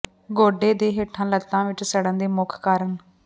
ਗੋਡੇ ਦੇ ਹੇਠਾਂ ਲੱਤਾਂ ਵਿੱਚ ਸੜਨ ਦੇ ਮੁੱਖ ਕਾਰਨ